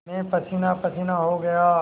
मैं पसीनापसीना हो गया